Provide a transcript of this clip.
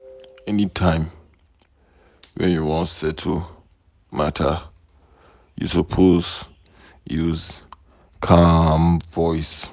Any time wey you wan settle matter, you suppose use calm voice.